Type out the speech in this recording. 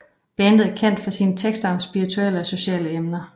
Bandet er kendt for sine tekster om spirituelle og sociale emner